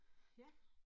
Ja